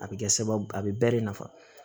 A bɛ kɛ sababu a bɛ bɛɛ de nafa